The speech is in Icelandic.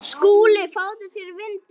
SKÚLI: Fáðu þér vindil.